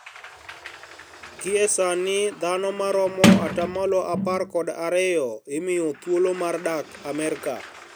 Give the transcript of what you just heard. Gie sani dhano maromo atamalo apar kod ariyo imiyo thuolo mar dak Amerka